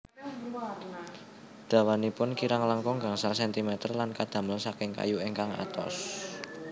Dawanipun kirang langkung gangsal sentimeter lan kadamel saking kayu ingkang atos